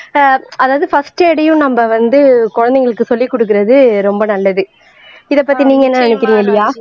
ஆஹ் அதாவது பர்ஸ்ட் எய்டயும் நம்ம வந்து குழந்தைகளுக்கு சொல்லிக் கொடுக்கிறது ரொம்ப நல்லது இதைப் பத்தி நீங்க என்ன நினைக்கிறீங்க லியா